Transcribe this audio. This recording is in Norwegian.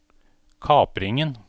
kapringen